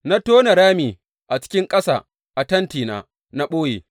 Na tona rami a cikin ƙasa a tentina; na ɓoye.